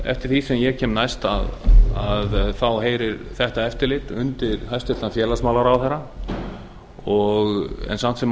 eftir því sem ég kemst næst heyrir þetta eftirlit undir hæstvirts félagsmálaráðherra en samt sem